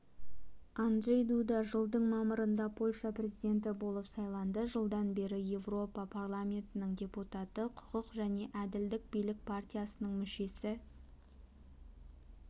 анджей дуда жылдың мамырында польша президенті болып сайланды жылдан бері еуропа парламентінің депутаты құқық және әділдік билік партиясының мүшесі